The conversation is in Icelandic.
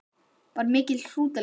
Magnús: Var mikil hrútalykt?